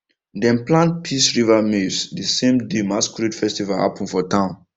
dem plant peace river maize the same day masquerade festival happen for town